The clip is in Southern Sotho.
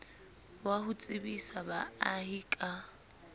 wa ho tsebisa baahi ka